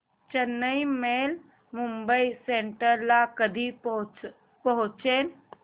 Chennai Mail Mumbai Central ला कधी पोहचेल